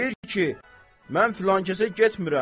Deyir ki, mən filankəsə getmirəm.